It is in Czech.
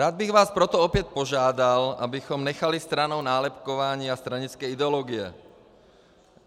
Rád bych vás proto opět požádal, abychom nechali stranou nálepkování a stranické ideologie.